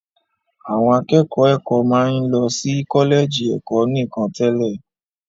Àwọn akẹ́kọ̀ọ́ ẹ̀kọ́ máa ń lọ sí kọ́lẹ̀jì ẹ̀kọ́ nìkan tẹ́lẹ̀